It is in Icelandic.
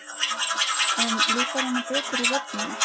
En líkar honum betur í vörninni?